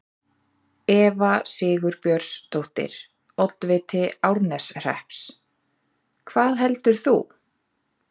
Eva Sigurbjörnsdóttir, oddviti Árneshrepps: Hvað heldur þú?